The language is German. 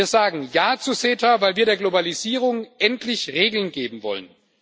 Wir sagen Ja zu CETA, weil wir der Globalisierung endlich Regeln geben wollen.